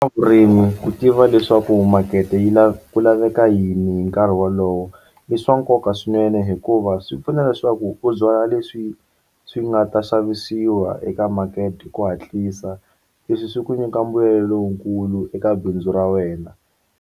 Ku tiva leswaku makete yi ku laveka yini hi nkarhi wolowo i swa nkoka swinene hikuva swi pfuna leswaku u byala leswi swi nga ta xavisiwa eka makete hi ku hatlisa leswi swi ku nyika mbuyelo lowukulu eka bindzu ra wena.